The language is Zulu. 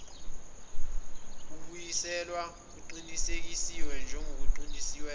kubuyiselwa kuqinisekiswe njengokuyiqiniso